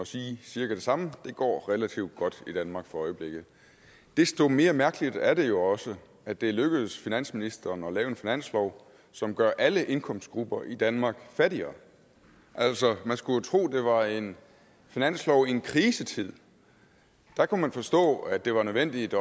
og sige cirka det samme det går relativt godt i danmark for øjeblikket desto mere mærkeligt er det jo også at det er lykkedes finansministeren at lave en finanslov som gør alle indkomstgrupper i danmark fattigere altså man skulle tro at det var en finanslov i en krisetid der kunne man forstå at det var nødvendigt